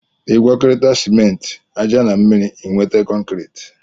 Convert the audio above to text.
Igwakọrita sịmenti, aja na mmiri ịnweta kọnkriti